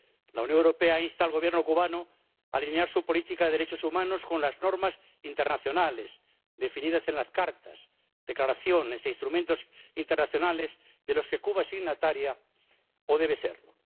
La Unión Europea insta al Gobierno cubano a alinear su política de derechos humanos con las normas internacionales definidas en las cartas, las declaraciones y los instrumentos internacionales de los que Cuba es signataria o debe serlo.